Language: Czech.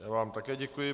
Já vám také děkuji.